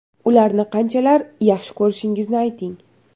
Ularni qanchalar yaxshi ko‘rishingizni ayting.